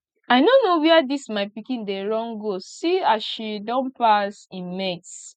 i no know where dis my pikin dey run go see as she don pass im mates